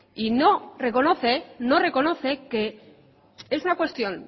y no reconoce que es una cuestión